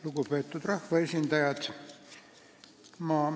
Lugupeetud rahvaesindajad!